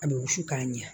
A bɛ wusu k'a ɲɛ